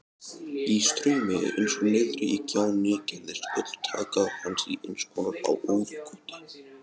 Í straumi eins og niðri í gjánni gerðist öll taka hans í einskonar óðagoti.